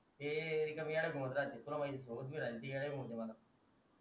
हे रिकामे येड्या घुमत राहते तुला माहिते सोबत मी राहिलो ती येड्या घुमवते मला